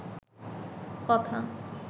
কথা